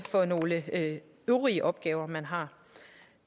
for nogle øvrige opgaver man har